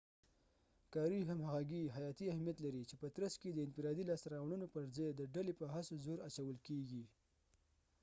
کاري همغږي حیاتي اهمیت لري چې په ترڅ کې يې د انفرادي لاسته راوړنو پر ځای د ډلې په هڅو زور اچول کیږي